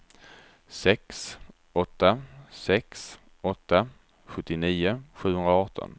sex åtta sex åtta sjuttionio sjuhundraarton